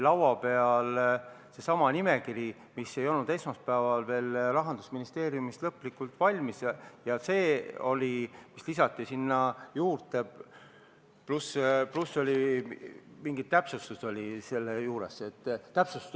Laua peal oli seesama nimekiri, mis ei olnud esmaspäeval veel Rahandusministeeriumis lõplikult valmis, ja see oli see, mis sinna juurde lisati, pluss mingi täpsustus oli selle juures.